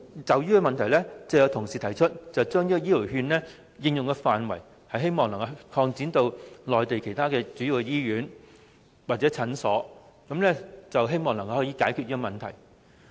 就此，有同事提出將醫療券的應用範圍，擴展至內地主要醫院或診所，希望能夠解決這個問題。